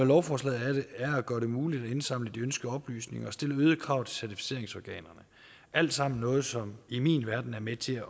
lovforslaget er at gøre det muligt at indsamle de ønskede oplysninger og stille øgede krav til certificeringsorganerne alt sammen noget som i min verden er med til